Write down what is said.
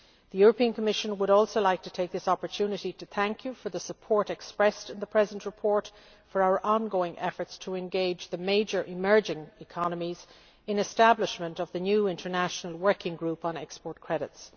The Commission would also like to take this opportunity to thank you for the support expressed in the present report for our ongoing efforts to engage the major emerging economies in the establishment of the new International Working Group on Export Credits.